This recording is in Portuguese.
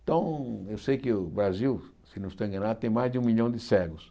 Então, eu sei que o Brasil, se não estou enganado, tem mais de um milhão de cegos.